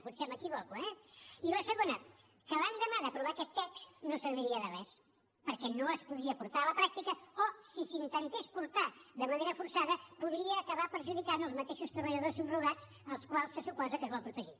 potser m’equivoco eh i la segona que l’endemà d’aprovar aquest text no serviria de res perquè no es podria portar a la pràctica o si s’intentés portar de manera forçada podria acabar perjudicant els mateixos treballadors subrogats als quals se suposa que es vol protegir